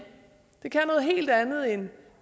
det kan noget helt andet end